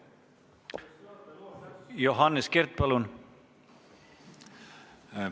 Johannes Kert, palun!